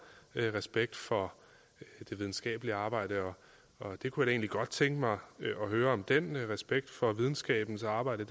respekt for det videnskabelige arbejde og jeg kunne da godt tænke mig at høre om den respekt for videnskabens arbejde